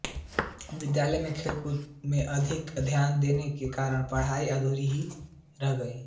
विद्यालय में खेलकूद में अधिक ध्यान देने के कारण पढ़ाई अधूरी ही रह गयी